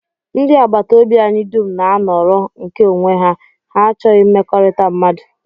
Ndị agbataobi anyị dum na-anọrọ nke onwe ha, ha achọghị mmekọrịta mmadụ